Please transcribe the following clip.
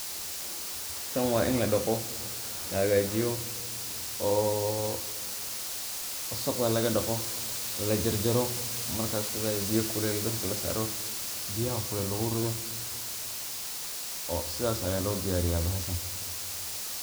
tan waa in la dhaqo, la hagajiyoo oo wasaqda laga dhaqo, lajarjaro markas kabacdi biya kulel dabka lasaaro, biyaha kulel lugu rido oo sidas aya loo diyariya bahashan